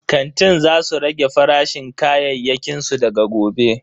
Kantin za su rage farashin kayayyakin su daga gobe.